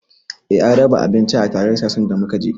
Eh an raba abinci a taron siyasan da muka je